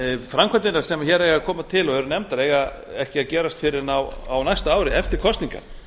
framkvæmdirnar sem hér eiga að koma til og eru nefndar eiga ekki að gerast fyrr en á næsta ári eftir kosningar